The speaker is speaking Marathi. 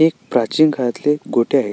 एक प्राचीन काळातले गोट्या आहे.